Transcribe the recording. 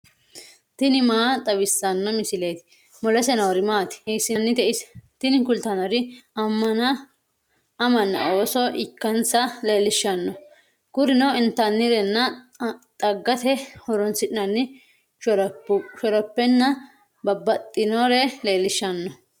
tini maa xawissanno misileeti ? mulese noori maati ? hiissinannite ise ? tini kultannori amanna ooso ikkansa leellishshanno kurino intannirenna xaggate horoonsi'nanni shorophenna babbaxxinore leellishshanno.